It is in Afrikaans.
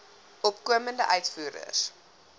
opkomende uitvoerders